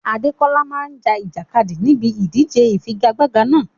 Adekola máa ja ìjàkadì níbi ìdíje ìfigagbága náà.